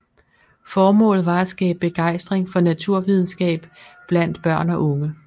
Formålet var at skabe begejstring for naturvidenskab blandt børn og unge